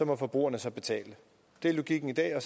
må forbrugerne så betale det er logikken i dag og